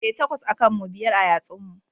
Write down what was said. E, takwas a kan mu, biyar a yatsun mu.